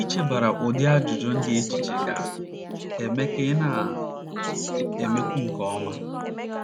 Ichebara ụdị ajụjụ ndị a echiche ga - eme ka ị na - emekwu nke ọma.